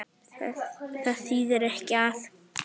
Það þýðir ekki að.